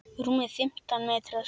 Rúmir fimmtán metrar.